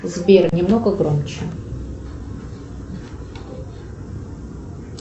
сбер немного громче